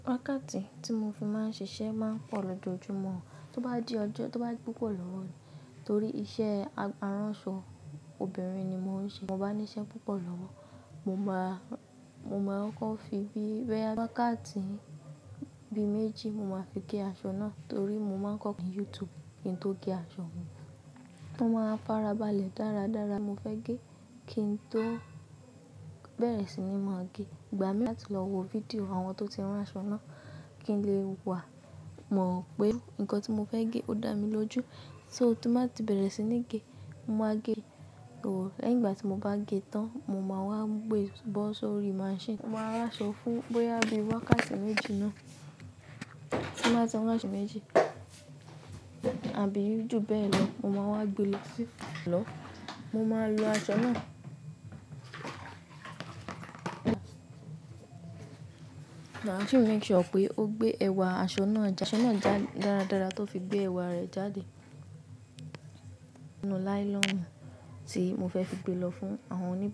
Wákàtí tí mo fi máa ń ṣiṣẹ́ máa ń pọ̀ lójoojúmọ́, tó bá di ọjọ́ tó bá di púpọ̀ lọ́wọ́ mi torí iṣẹ́ aránṣọ obìnrin ni mo ń ṣe. Mo bá ní iṣẹ́ púpọ̀ lọ́wọ́, mo máa kọ́ fi bí boyà wákàtí bí méjì mo máa fi gé aṣọ náà torí mo máa ń kọ́ ní YouTube kin tó gé aṣọ mi. Mo máa farabalẹ̀ dáradára. Mo fẹ́ gé kí n tó bẹ̀rẹ̀ sí ní máa gé. Ìgbà mí láti lọ wo fídíò àwọn tó ti rán aṣọ náà kí n lè wà mọ̀ pé nǹkan tí mo fẹ́ gé ó dà mí lójú. Só tí mo bá ti bẹ̀rẹ̀ sí ní gé, mo máa gé ó. Lẹ́yìn ìgbà tí mo bá gé tán, mo máa wá gbé e bọ́ sórí machine. Mo máa rán aṣọ fún bóyá bí wákàtí méjì náà tí mo bá ti rán aṣọ méjì àbí jù bẹ́ẹ̀ lọ, mo máa wá gbe lọ sí lọ. Mo máa lo aṣọ náà. Máa sì make sure pé ó gbé ẹwà aṣọ náà já. Aṣọ náà já dáradára tó fi gbé ẹwà rẹ̀ jáde. Inú nylon tí mo fẹ́ fi gbe lọ fún àwọn oníbá.